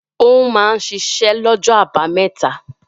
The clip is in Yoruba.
Ó máa ń ṣiṣẹ́ lọ́jọ́ àbámẹ́ta?